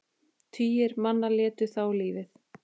Tugir manna létu þá lífið.